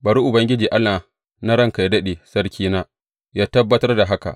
Bari Ubangiji Allah na ranka yă daɗe sarkina, yă tabbatar da haka.